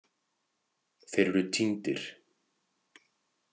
Þeir eru týndir.